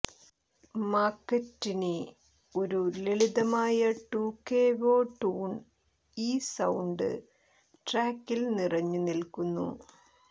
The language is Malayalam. മാക്കറ്റ്നി ഒരു ലളിതമായ ട്യൂകേവേ ട്യൂൺ ഈ സൌണ്ട് ട്രാക്കിൽ നിറഞ്ഞുനിൽക്കുന്നു